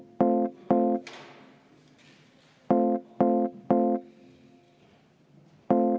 Tänan!